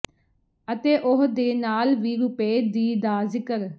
ਅਤੇ ਉਹ ਦੇ ਨਾਲ ਵੀ ਰੁਪਏ ਦੀ ਦਾ ਜ਼ਿਕਰ